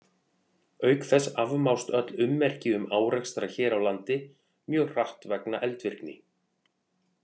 Auk þess afmást öll ummerki um árekstra hér á landi mjög hratt vegna eldvirkni.